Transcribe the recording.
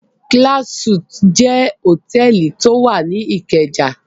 Class Suites jẹ́ hòtẹ́ẹ́lì tí ó wà ní Ìkẹjà.